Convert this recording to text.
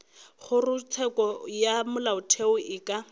kgorotsheko ya molaotheo e ka